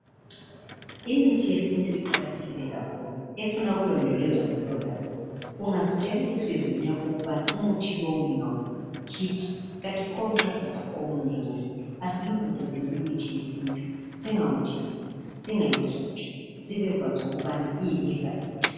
Imithi yesintu iqakathekile kakhulu ifuna ukulondolozwa ngulowo lalolwo ungazitshela enhliziyeni yakho ukubana umuthi lowo ngingakhipha kanti pho nxa uzalapha omunye ke. Asilondolozeni imithi yesintu singawudilizi singawukhiphi sibekwazi ukubana ililifa lethu.